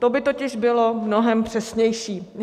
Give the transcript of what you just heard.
To by totiž bylo mnohem přesnější.